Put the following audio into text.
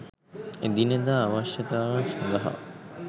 එදිනෙදා අවශ්‍යතාවන් සඳහා